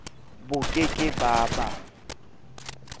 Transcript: bo ke ke ba ba